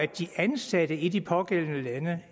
de ansatte i de pågældende lande